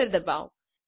enter ડબાઓ